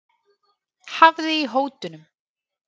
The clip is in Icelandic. Hafði í hótunum